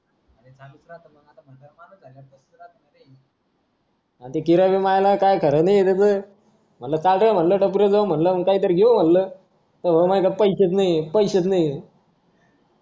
किराणा माल काय खरं नाही त्याच म्हणलं चाल रे टपरीवर म्हणलं काही तरी घेऊ म्हणलं तो म्हणी मा कड पैसेच नाही पैसेच नाही